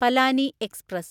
Palani express